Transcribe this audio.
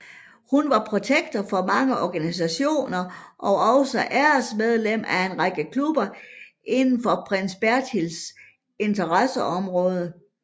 Hun var protektor for mange organisationer og også æresmedlem af en række klubber inden for prins Bertils interesseområde